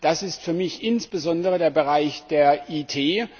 Das ist für mich insbesondere der Bereich der IT.